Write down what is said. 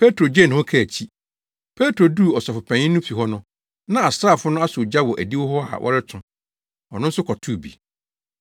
Petro duu Ɔsɔfopanyin no fi hɔ no na asraafo no asɔ ogya wɔ adiwo hɔ a wɔreto; ɔno nso kɔtoo bi.